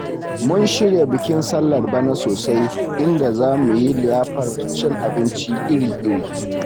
Mun shirya bikin sallar bana sosai, inda za mu yi liyafar cin abinci iri-iri.